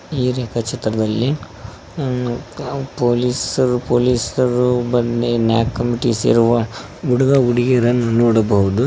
ಈ ರೇಖಚಿತ್ರದಲ್ಲಿ ಉ ಪೋಲಿಸರ ಪೋಲಿಸ ರು ಬಂದಿ ನ್ಯಾಕ್ ಕಮಿಟಿ ಸೇರುವ ಹುಡುಗ ಹುಡುಗಿಯರನ್ನು ನೋಡಬಹುದು.